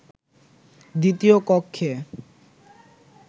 দ্বিতীয় কক্ষে